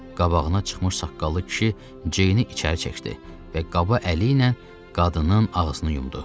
Qabağına çıxmış saqqallı kişi Ceyni içəri çəkdi və qabı əli ilə qadının ağzını yumdu.